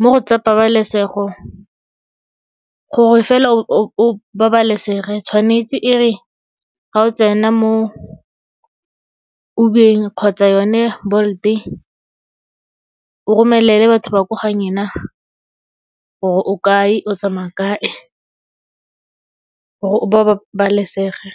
mo go tsa pabalesego, gore fela o babalesege tshwanetse e re ga o tsena mo Uber-eng kgotsa yone Bolt o romelele batho ba ko ga nyena gore o kae o tsamaya kae, gore o babalesege.